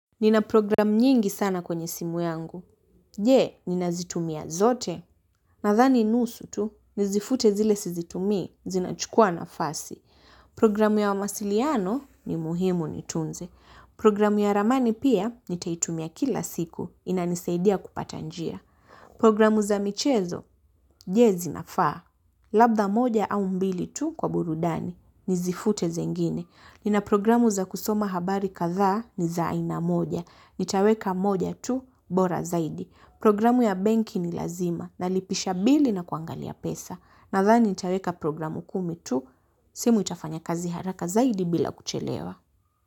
Nina program nyingi sana kwenye simu yangu. Je, nina zitumia zote? Nathani nusu tu, nizifute zile sizitumii, zinachukua nafasi. Programu ya wamasiliano ni muhimu nitunze. Programu ya ramani pia, nitaitumia kila siku, inanisaidia kupata njia. Programu za michezo, je zinafaa? Labda moja au mbili tu kwa burudani, nizifute zingine. Nina programu za kusoma habari katha ni za aina moja. Nitaweka moja tu, bora zaidi. Programu ya benki ni lazima na lipisha bili na kuangalia pesa. Nathani nitaweka programu kumi tu, simu itafanya kazi haraka zaidi bila kuchelewa.